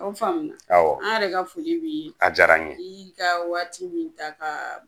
O faamula, an yɛrɛ ka foli b'i ye , a diyara n ye , ka y'i ka waati min ta